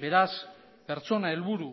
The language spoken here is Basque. beraz pertsona helburu